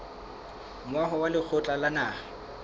moaho wa lekgotla la naha